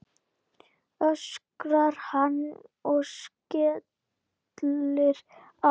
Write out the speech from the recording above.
öskrar hann og skellir á.